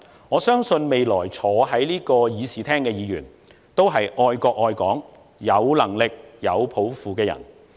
我相信未來坐在此議事廳的議員，都是愛國愛港、有能力、有抱負的人。